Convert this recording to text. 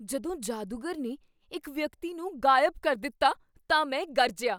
ਜਦੋਂ ਜਾਦੂਗਰ ਨੇ ਇੱਕ ਵਿਅਕਤੀ ਨੂੰ ਗ਼ਾਇਬ ਕਰ ਦਿੱਤਾ ਤਾਂ ਮੈਂ ਗਰਜਿਆ!